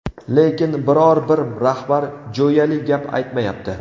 Lekin, biror-bir rahbar jo‘yali gap aytmayapti”.